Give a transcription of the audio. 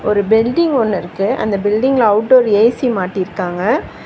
ஒரு பில்டிங் ஒன்னு இருக்கு அந்த பில்டிங்ல அவுட்டோர் ஏ_சி மாட்டிருக்காங்க.